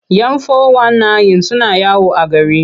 Yan fo-wan-nayin suna yawo a gari.